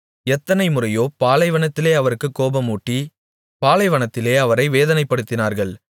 எத்தனைமுறையோ பாலைவனத்திலே அவருக்குக் கோபமூட்டி பாலைவனத்திலே அவரை வேதனைப்படுத்தினார்கள்